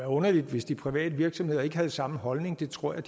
underligt hvis de private virksomheder ikke havde samme holdning det tror jeg